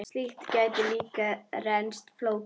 Slíkt gæti líka reynst flókið.